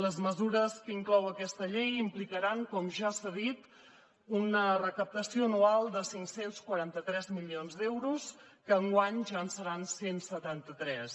les mesures que inclou aquesta llei implicaran com ja s’ha dit una recaptació anual de cinc cents i quaranta tres milions d’euros que enguany ja en seran cent i setanta tres